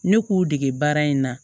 Ne k'u dege baara in na